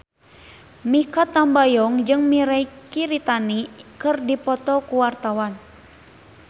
Mikha Tambayong jeung Mirei Kiritani keur dipoto ku wartawan